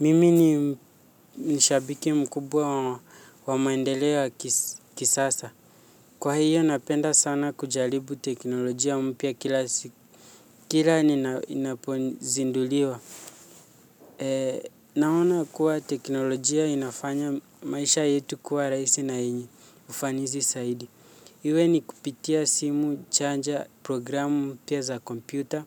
Mimi ni shabiki mkubwa wa maendeleo ya kisasa. Kwa hiyo napenda sana kujaribu teknolojia mpya kila inapozinduliwa. Naona kuwa teknolojia inafanya maisha yetu kuwa rahisi na yenye ufanisi zaidi. Iwe ni kupitia simu, chaja, programu mpya za kompyuta.